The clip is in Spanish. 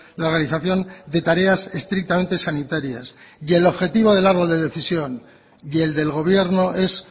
la realización de tareas estrictamente sanitarias y el objetivo del árbol de decisión y el del gobierno es